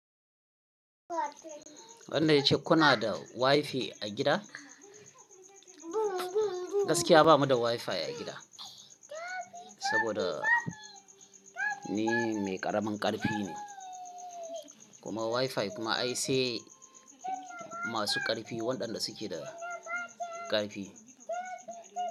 Wanna ya ce kuna da wifi a gida? Gaskiya bamu da wifi a gida, saboda ni mai ƙaramin ƙarfi ne. Kuma wifi kuma ai sai masu ƙarfi waɗanda suke da ƙarfi.